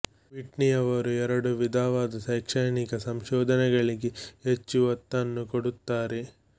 Whitney ಯವರು ಎರಡು ವಿಧವಾದ ಶೈಕ್ಷಣಿಕ ಸಂಶೋಧನೆಗಳಿಗೆ ಹೆಚ್ಚು ಒತ್ತನ್ನು ಕೊಡುತ್ತಾರೆ